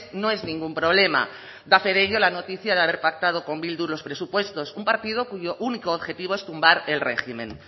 no es ningún problema da fe de ello la noticia de haber pactado con bildu los presupuestos un partido cuyo único objetivo es tumbar el régimen